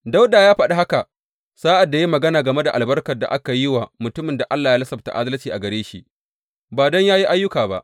Dawuda ya faɗi haka sa’ad da ya yi magana game da albarkar da aka yi wa mutumin da Allah ya lissafta adalci a gare shi, ba don yă yi ayyuka ba.